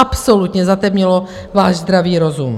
Absolutně zatemnilo váš zdravý rozum!